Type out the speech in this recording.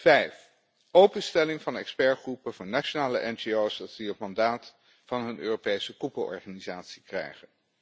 Vijf openstelling van expertgroepen van nationale ngo's, zodat die ook het mandaat van een Europese koepelorganisatie krijgen.